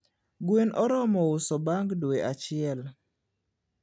gwen oromo uso bang dwe achiel